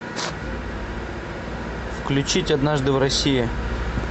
включить однажды в россии